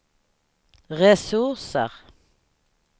resurser